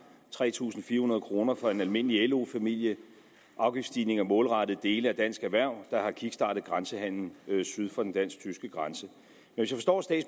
tre tusind fire hundrede kroner for en almindelig lo familie afgiftsstigninger målrettet dele af dansk erhverv der har kickstartet grænsehandelen syd for den dansk tyske grænse